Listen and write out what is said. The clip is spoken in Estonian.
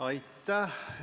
Aitäh!